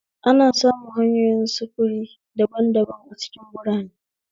ana samun hanyoyin sufuri daban daban a cikin birane